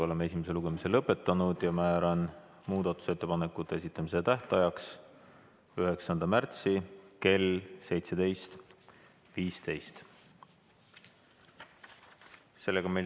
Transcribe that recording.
Oleme esimese lugemise lõpetanud ja määran muudatusettepanekute esitamise tähtajaks 9. märtsi kell 17.15.